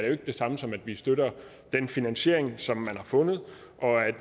jo ikke det samme som at vi støtter den finansiering som man har fundet